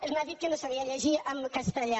ella m’ha dit que no sabia llegir en castellà